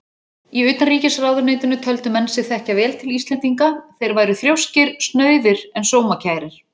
Í utanríkisráðuneytinu töldu menn sig þekkja vel til Íslendinga: þeir væru þrjóskir, snauðir en sómakærir.